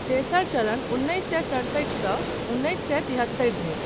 तेसर चरणः उन्नैस सए सतसठि सँ उन्नैस सए तिहत्तरि धरि।